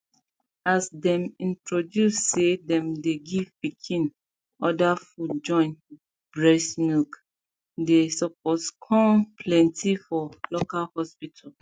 as them introduce say them dey give pikin other food join breast milk the support con plenty for local hospital